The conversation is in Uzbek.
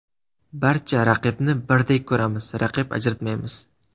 Barcha raqibni birdek ko‘ramiz, raqib ajratmaymiz.